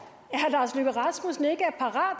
lars løkke rasmussen ikke er parat